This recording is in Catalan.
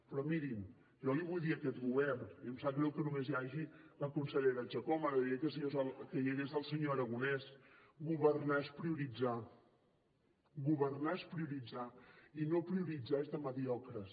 però mirin jo li vull dir a aquest govern i em sap greu que només hi hagi la consellera chacón m’agradaria que hi hagués el senyor aragonès governar és prioritzar governar és prioritzar i no prioritzar és de mediocres